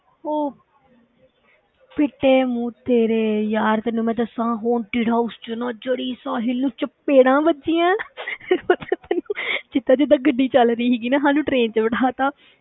ਉਹ ਫਿੱਟੇ ਮੂੰਹ ਤੇਰੇ ਯਾਰ, ਤੈਨੂੰ ਮੈਂ ਦੱਸਾਂ haunted house ਵਿੱਚ ਨਾ ਜਿਹੜੀ ਸਾਹਿਲ ਨੂੰ ਚਪੇੜਾਂ ਵੱਜੀਆਂ ਪਤਾ ਤੈਨੂੰ, ਜਿੱਦਾਂ ਜਿੱਦਾਂ ਗੱਡੀ ਚੱਲ ਰਹੀ ਸੀਗੀ ਨਾ ਸਾਨੂੰ train ਵਿੱਚ ਬਿੱਠਾ ਦਿੱਤਾ,